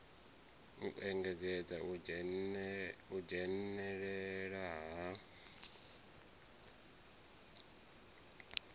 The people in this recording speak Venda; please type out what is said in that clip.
u engedza u dzhenela ha